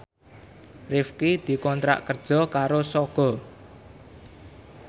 Rifqi dikontrak kerja karo Sogo